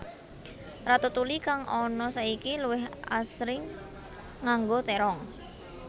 Ratatouille kang ana saiki luwih asring nganggo térong